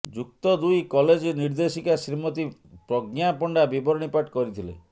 ଯୁକ୍ତ ଦୁଇ କଲେଜ ନିର୍ଦ୍ଦେଶିକା ଶ୍ରୀମତୀ ପ୍ରଜ୍ଞା ପଣ୍ଡା ବିବରଣୀ ପାଠ କରିଥିଲେ